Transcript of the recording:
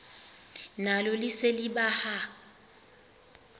nalo lise libaha